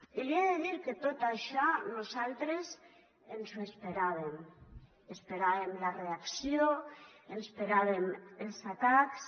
i li he de dir que tot això nosaltres ens ho esperàvem esperàvem la reacció esperàvem els atacs